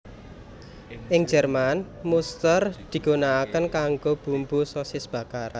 Ing Jerman muster digunakake kanggo bumbu sosis bakar